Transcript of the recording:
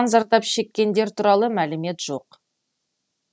зардап шеккендер туралы мәлімет жоқ